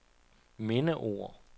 mindeord